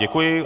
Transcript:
Děkuji.